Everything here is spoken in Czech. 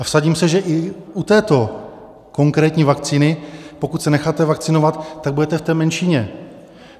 A vsadím se, že i u této konkrétní vakcíny, pokud se necháte vakcinovat, tak budete v té menšině.